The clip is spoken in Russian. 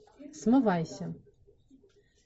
смывайся